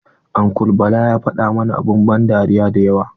Uncle bala ya fada mana abun ban dariya dayawa.